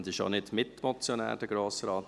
Aebi ist auch nicht Mitmotionär.